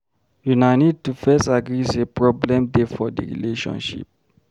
Una need to first agree sey problem dey for di relationship